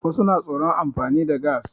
Wasu na tsoron amfani da gas.